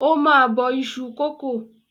Ó máa bọ iṣu kòkó.